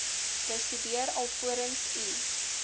bestudeer alvorens u